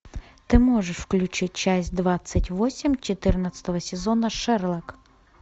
ты можешь включить часть двадцать восемь четырнадцатого сезона шерлок